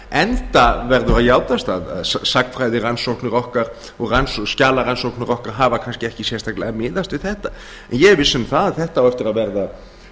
enda verður að játast að sagnfræðirannsóknir okkar og skjalarannsóknir okkar hafa kannski ekki sérstaklega miðast við þetta en ég er viss um það að þetta á eftir